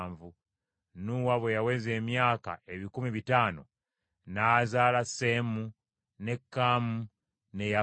Nuuwa bwe yaweza emyaka ebikumi bitaano n’azaala Seemu, ne Kaamu ne Yafeesi.